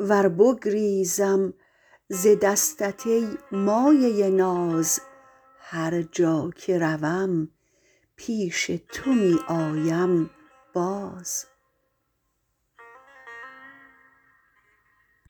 ور بگریزم ز دستت ای مایه ناز هر جا که روم پیش تو می آیم باز